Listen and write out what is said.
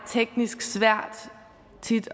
teknisk svært